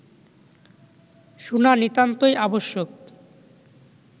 শুনা নিতান্তই আবশ্যক